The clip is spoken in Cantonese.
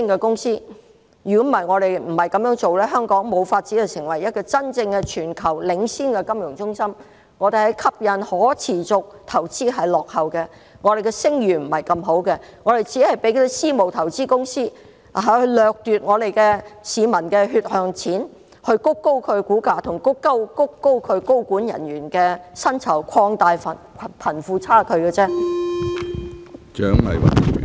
我們若不這樣做，香港便無法成為真正全球領先的金融中心，我們在吸引可持續投資方面落後，我們的聲譽並不太好，我們任由私募投資公司掠奪市民的血汗錢，以推高其股價和其高管人員的薪酬，擴大貧富差距。